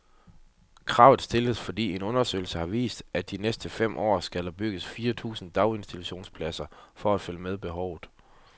Kravet stilles, fordi en undersøgelse har vist, at der de næste fem år skal bygges firs tusind daginstitutionspladser for at følge med behovet.